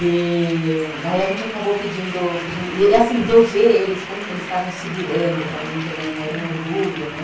E aí a gente acabou pedindo, pedindo... E assim, de eu ver eles, como eles estavam se virando para mim também, era um orgulho, né?